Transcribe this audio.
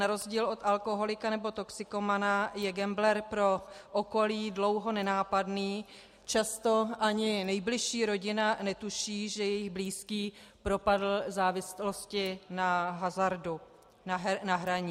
Na rozdíl od alkoholika nebo toxikomana je gambler pro okolí dlouho nenápadný, často ani nejbližší rodina netuší, že její blízký propadl závislosti na hazardu a hraní.